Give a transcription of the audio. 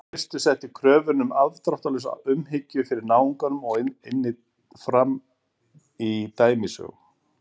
kristur setti kröfuna um afdráttarlausa umhyggju fyrir náunganum einnig fram í dæmisögum